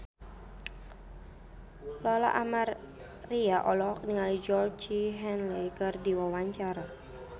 Lola Amaria olohok ningali Georgie Henley keur diwawancara